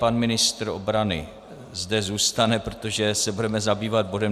Pan ministr obrany zde zůstane, protože se budeme zabývat bodem